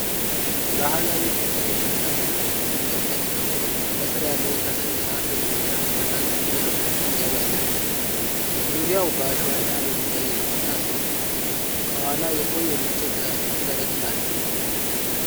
ባህላዊ ጥቁር የሸክላ ድስት በሦስት ድንጋዮች ላይ ተቀምጦ፣ ከሥር ያለ የከሰል እሳት በጭስና ነበልባል ምግብ ያበስላል። ዙሪያው በአሸዋ እና በድንጋይ የተሞላ ሲሆን፣ ከኋላ የቆየ ነጭ የፕላስቲክ ከረጢት አለ።